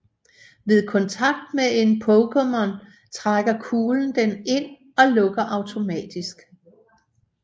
Ved kontakt med en Pokémon trækker kuglen den ind og lukker automatisk